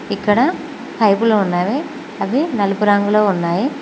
ఇక్కడ పైపులు ఉన్నవి అవి నలుపు రంగులో ఉన్నాయి.